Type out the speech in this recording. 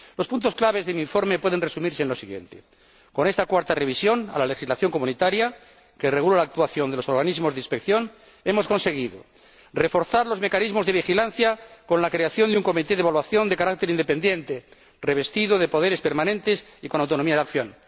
Los puntos clave de mi informe pueden resumirse en lo siguiente con esta cuarta revisión de la legislación comunitaria que regula la actuación de los organismos de inspección, hemos conseguido reforzar los mecanismos de vigilancia con la creación de un comité de evaluación de carácter independiente, revestido de poderes permanentes y con autonomía de acción.